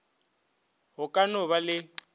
go ka no ba le